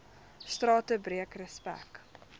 strate breek respek